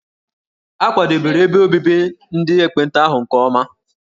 A kwadebere ebe obibi ndị ekpenta ahụ nke ọma.